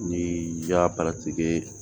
Ni ja